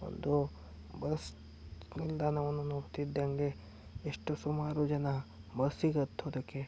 ಒಂದು ಬಸ್ ನಿಲ್ದಾಣವನ್ನು ನೋಡತ್ತಿದಂಗೆ ಎಷ್ಟು ಸುಮಾರು ಜನ ಬಸ್ಸಿಗೆ ಹತ್ತೋದಕ್ಕೆ --